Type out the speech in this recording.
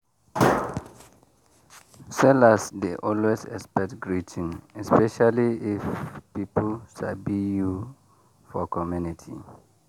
sellers dey always expect greeting especially if people sabi you for community.